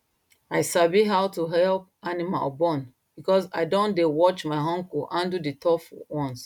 i sabi how to help animal born because i don dey watch my uncle handle the tough ones